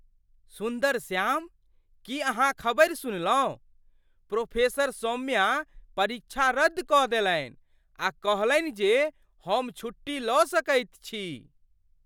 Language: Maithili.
सुन्दरश्याम, की अहाँ खबरि सुनलहुँ? प्रोफेसर सौम्या परीक्षा रद्द कऽ देलनि आ कहलनि जे हम छुट्टी लऽ सकैत छी!